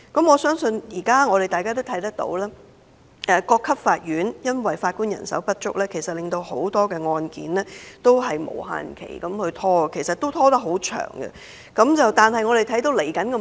我相信大家現時也看到，由於各級法院法官人手不足，很多案件也要無限期拖延，拖延的時間也頗長。